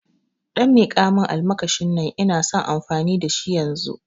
Ɗan miƙamun almakashin nan ina son amfani da shi yanzu